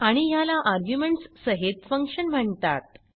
आणि ह्याला आर्ग्युमेंट्स सहित फंक्शन म्हणतात